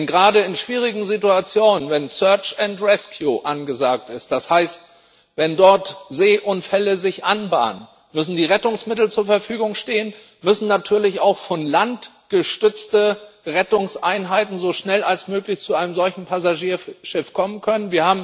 Denn gerade in schwierigen Situationen wenn Suche und Rettung angesagt ist, das heißt, wenn sich dort Seeunfälle anbahnen müssen die Rettungsmittel zur Verfügung stehen, müssen natürlich auch landgestützte Rettungseinheiten so schnell wie möglich zu einem solchen Passagierschiff kommen können.